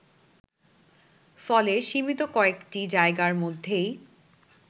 ফলে সীমিত কয়েকটি জায়গার মধ্যেই